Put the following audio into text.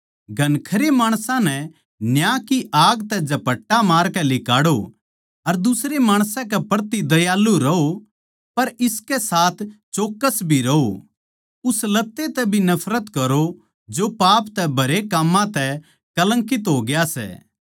घणखरे माणसां नै न्याय की आग तै झपट्टा मारकै लिकाड़ो अर दुसरे माणसां के प्रति दयालु रहों पर इसकै साथ चौक्कस भी राहों उस लत्ते तै भी नफरत करो जो पाप तै भरे काम्मां तै कलंकित हो गया सै